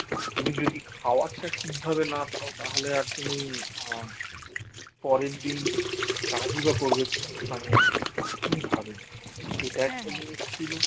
তুমি যদি খাবারটা ঠিকভাবে না খাও তাহলে আর তুমি আ পরের দিন কাজই বা করবে কেমন কিভাবে এটা একটা জিনিস ছিল